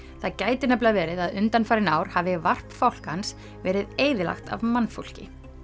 það gæti nefnilega verið að undanfarin ár hafi varp fálkans verið eyðilagt af mannfólki